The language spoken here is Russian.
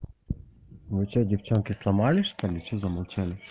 вы что девчонки сломались что-ли что замолчали